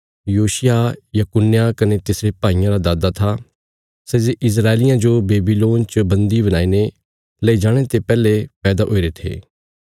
योशिय्याह यकुन्याह कने तिसरे भाईयां रा दादा था सै जे इस्राएलियां जो बेबीलोन च बन्दी बणाईने लेई जाणे ते पैहले पैदा हुईरे थे